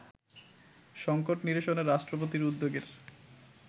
সংকট নিরসনে রাষ্ট্রপতির উদ্যোগের